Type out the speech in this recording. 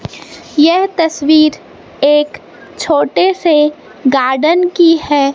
यह तस्वीर एक छोटे से गार्डन की है।